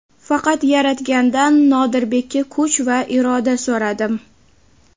Faqat Yaratgandan Nodirbekka kuch va iroda so‘radim.